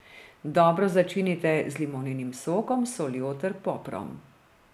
Dobro začinite z limoninim sokom, soljo ter poprom.